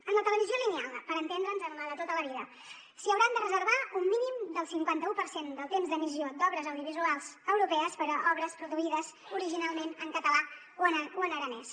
en la televisió lineal per entendre’ns en la de tota la vida s’hi hauran de reservar un mínim del cinquanta u per cent del temps d’emissió d’obres audiovisuals europees per a obres produïdes originalment en català o en aranès